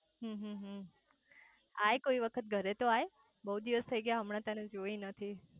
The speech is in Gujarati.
આય કોઈ વખત ઘરે તો આય બહુ દિવસ થઇ ગયા તને જોઈ નથી